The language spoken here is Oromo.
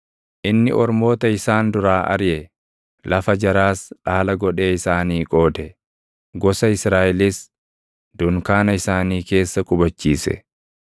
Inni ormoota isaan duraa ariʼe; lafa jaraas dhaala godhee isaanii qoode; gosa Israaʼelis dunkaana isaanii keessa qubachiise.